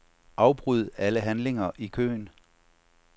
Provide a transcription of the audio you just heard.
Afbryd alle handlinger i køen.